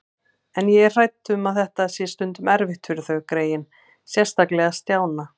En ég er hrædd um að þetta sé stundum erfitt fyrir þau greyin, sérstaklega Stjána